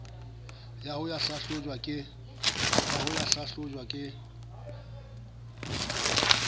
ya ho ya hlahlojwa ke